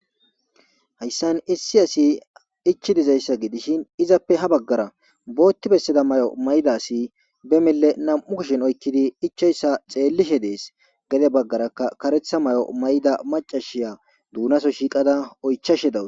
Hayssan issi asi ichchi dizayssa gidishin izappe ha bagaara bootti bessida mayo mayida asi be mille nam'u kushen oykkidi ichchoyssa xeelishe dees; gede bagaarakka karetha mayo mayida maccashiya doonaso shiqada oychchashe dawus.